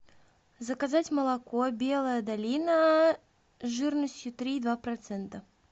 заказать молоко белая долина жирностью три и два процента